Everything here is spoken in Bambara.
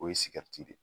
O ye de ye